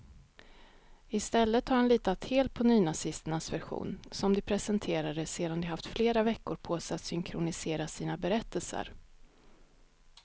I stället har han litat helt på nynazisternas version, som de presenterade sedan de haft flera veckor på sig att synkronisera sina berättelser.